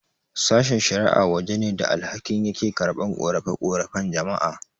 Sashen-shara'a waje ne da alkali yake karɓan ƙorafe-ƙorafen jama'a.